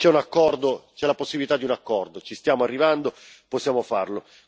C'è un accordo, c'è la possibilità di un accordo ci stiamo arrivando, possiamo farlo.